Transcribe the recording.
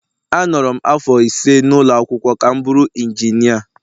Anọrọ m afọ ise n’ụlọ akwụkwọ ka m bụrụ injinia